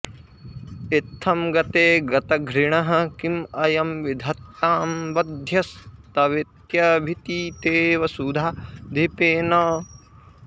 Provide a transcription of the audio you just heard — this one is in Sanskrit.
इत्थं गते गतघृणः किं अयं विधत्तां वध्यस्तवेत्यभितिते वसुधाधिपेन